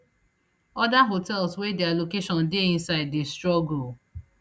oda hotels wey dia location dey inside dey struggle